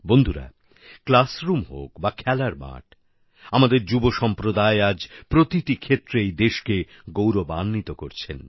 বন্ধুরা ক্লাসরুম হোক বা খেলার মাঠ আমাদের যুব সম্প্রদায় আজ প্রতিটি ক্ষেত্রেই দেশকে গৌরবান্বিত করছেন